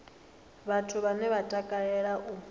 vhathu vhane vha takalea u